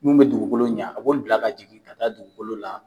mun bɛ dugukolo ɲɛ a b'o bila ka jigin ka taa dugukolo la